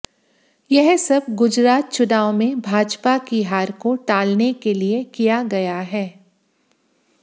यह सब गुजरात चुनाव में भाजपा की हार को टालने के लिए किया गया है